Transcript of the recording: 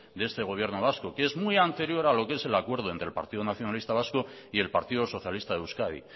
de este gobierno vasco que es muy anterior a lo que es el acuerdo entre el partido nacionalista vasco y el partido socialista de euskadi